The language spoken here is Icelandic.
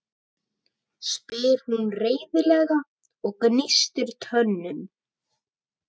spyr hún reiðilega og gnístir tönnum.